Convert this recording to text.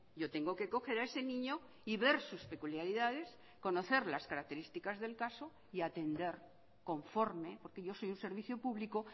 yo tengo que coger a ese niño y ver sus peculiaridades conocer las características del caso y atender conforme porque yo soy un servicio público